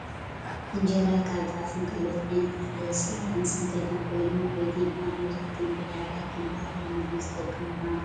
እንጀራ ካብ ጣፍን ካልኦት ዓይነት እክሊ ዝስራሕን /ዝስንከትን/ ኮይኑ ኣብ ኢትዮጵያ ኣብ መብዛሕቲኦም ቦታታት ከም ባህላዊ ምግቢ ዝጠቅም ምኳኑ ትፈልጡ ዶ ?